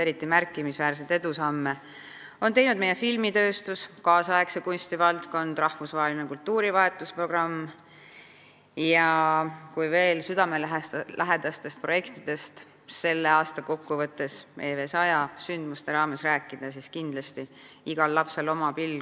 Eriti märkimisväärseid edusamme on teinud meie filmitööstus, kaasaegse kunsti valdkond, rahvusvaheline kultuurivahetusprogramm ja kui veel südamelähedastest projektidest "Eesti Vabariik 100" sündmuste raames rääkida, siis kindlasti tõstan esile aktsiooni "Igal lapsel oma pill".